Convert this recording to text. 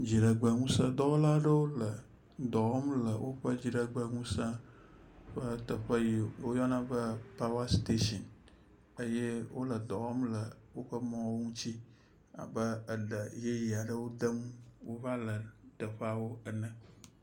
Dziɖegbe ŋusẽ dɔwɔla aɖewo le dɔ wɔm le woƒe dziɖegbeŋusẽ ƒe teƒe yi woyɔna be pawa stetsin. Eye wole dɔ wɔm le woƒe mɔwo ŋuti abe eɖe yeye aɖe dem wova le teƒeawo ene.